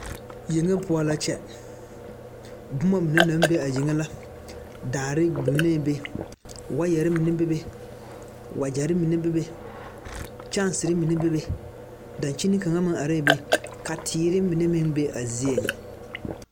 Yenge pou la kye buma mene nang be a yenge la daare bingɛɛ be waayeri mene bebe wajeri mene bebe kyanseri mene bebe dankyeni kanga meng arẽ be ka teere mene meng be a zeɛ.